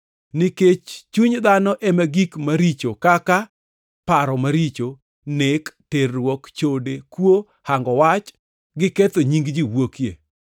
Nikech chuny ema gik maricho kaka; paro maricho, nek, terruok, chode, kuo, hango wach, gi ketho nying ji wuokie.